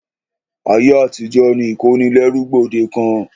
Ayé àtijó ni ìkónilẹ́rú gbòdekàn.